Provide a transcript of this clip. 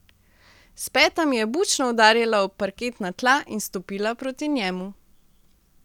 S petami je bučno udarila ob parketna tla in stopila proti njemu.